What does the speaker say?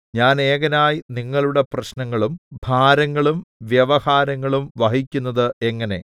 ഞാൻ ഏകനായി നിങ്ങളുടെ പ്രശ്നങ്ങളും ഭാരങ്ങളും വ്യവഹാരങ്ങളും വഹിക്കുന്നത് എങ്ങനെ